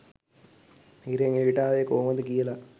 හිරෙන් එළියට ආවේ කොහොමද කියලා